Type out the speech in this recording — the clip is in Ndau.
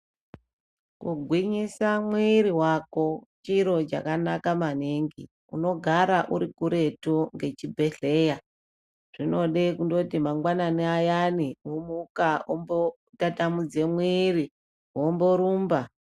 Kugwinyisa mwiri wako chiro chakanaka maningi unogara uri kuretu ngechibhehleya zvinode kundoti mangwanani ayani womuka wombotatamudze mwiri womborumba.